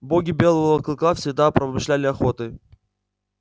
боги белого клыка всегда промышляли охотой